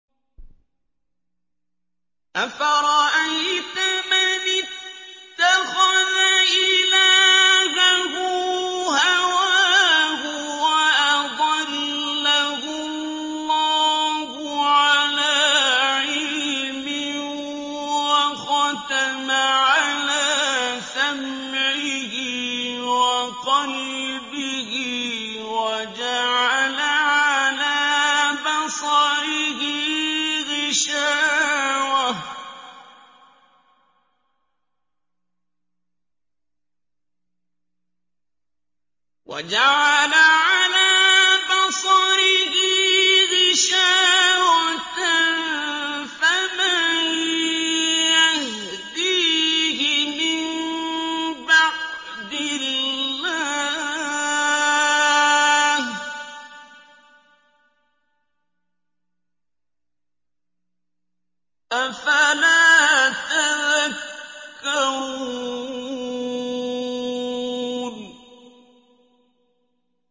أَفَرَأَيْتَ مَنِ اتَّخَذَ إِلَٰهَهُ هَوَاهُ وَأَضَلَّهُ اللَّهُ عَلَىٰ عِلْمٍ وَخَتَمَ عَلَىٰ سَمْعِهِ وَقَلْبِهِ وَجَعَلَ عَلَىٰ بَصَرِهِ غِشَاوَةً فَمَن يَهْدِيهِ مِن بَعْدِ اللَّهِ ۚ أَفَلَا تَذَكَّرُونَ